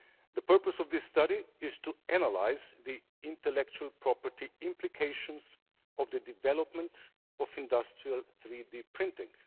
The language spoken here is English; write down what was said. The purpose of this study is to analyse the intellectual property implications of the development of industrial 3D printing.